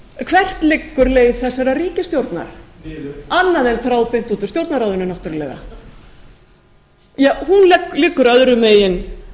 hvert liggur leið þessarar ríkisstjórnar niður annað en þráðbeint út úr stjórnarráðinu náttúrlega ja hún liggur öðrum megin